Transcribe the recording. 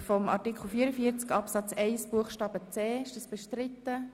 Wer noch hier ist, darf gerne hinunterstrahlen und es den anderen ausrichten.